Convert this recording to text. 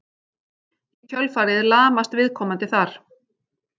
Í kjölfarið lamast viðkomandi þar.